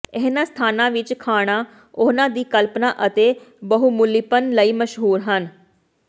ਇਹਨਾਂ ਸਥਾਨਾਂ ਵਿਚ ਖਾਣਾ ਉਹਨਾਂ ਦੀ ਕਲਪਨਾ ਅਤੇ ਬਹੁਮੁੱਲੀਪਨ ਲਈ ਮਸ਼ਹੂਰ ਹਨ